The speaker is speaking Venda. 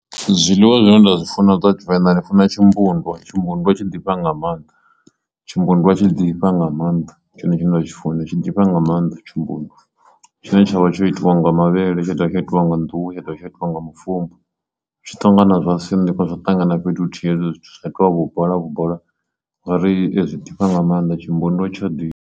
Zwiḽiwa zwine nda zwi funa dza tshivenḓa ndi funa tshimbundwa, tshimbundwa tshi tshi ḓifha nga maanḓa tshimbundwa tshi ḓifha nga maanḓa ndi tshone tshine nda tshi funa tshi ḓifha nga maanḓa tshimbundwa, tshine tshavha tsho itawa nga mavhele tsha dovha tsha itiwa nga nḓuhu, tsha dovha tsha itiwa nga mufumbu zwi ṱangana zwa sinḓiwa zwa ṱangana fhethu huthihi hezwo zwithu zwa itiwa vhu bola vhu bola ngauri ezwi ḓifha nga maanḓa tshimbundwa tsha ḓifha.